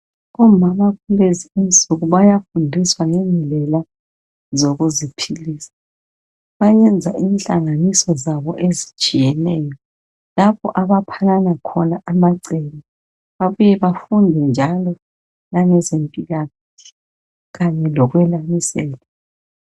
Omama kulezi insuku bayafundiswa ngendlela zokuziphilisa. Bayenza inhlanganiso zabo ezitshiyeneyo, lapho abaphanana khona amacebo babuye bafunde njalo langezempilakahle kanye lokwelamisela.